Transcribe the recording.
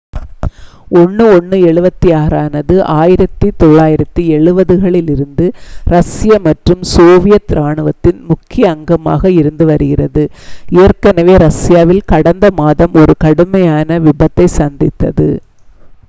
il-76 ஆனது 1970களிலிருந்து இரஷ்ய மற்றும் சோவியத் இராணுவத்தின் முக்கிய அங்கமாக இருந்து வருகிறது ஏற்கனவே ரஷ்யாவில் கடந்த மாதம் ஒரு கடுமையான விபத்தைச் சந்தித்தது